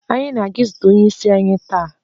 Anyị na-aga izute onye isi anyi taa.